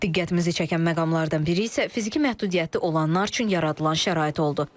Diqqətimizi çəkən məqamlardan biri isə fiziki məhdudiyyəti olanlar üçün yaradılan şərait oldu.